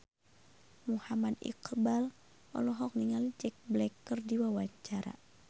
Muhammad Iqbal olohok ningali Jack Black keur diwawancara